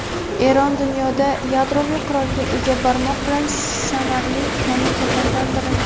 Eron dunyoda yadroviy qurolga ega barmoq bilan sanarli mamlakatlardan biri.